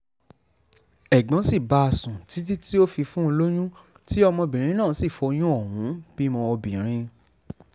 ẹ̀gbọ́n sì bá a sùn títí tó fi fún un lóyún tí ọmọbìnrin náà sì foyún ohùn bímọ obìnrin